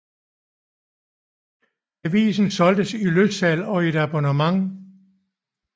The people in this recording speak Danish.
Avisen solgtes i løssalg og i abonnement